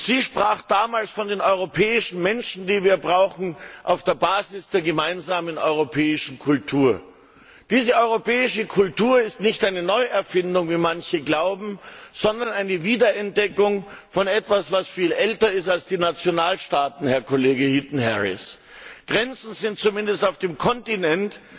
Sie sprach damals von den europäischen Menschen, die wir brauchen, auf der Basis der gemeinsamen europäischen Kultur. Diese europäische Kultur ist nicht eine Neuerfindung, wie manche glauben, sondern eine Wiederentdeckung von etwas, das viel älter ist als die Nationalstaaten, Herr Kollege Heaton Harris. Grenzen sind zumindest auf dem Kontinent